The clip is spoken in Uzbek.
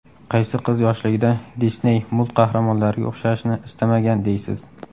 Qaysi qiz yoshligida Disney multqahramonlariga o‘xshashni istamagan deysiz?